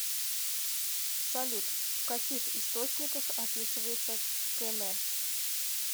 салют в каких источниках описывается км